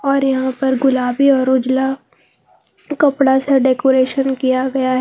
और यहां पर गुलाबी और उजला कपड़ा से डेकोरेशन किया गया है।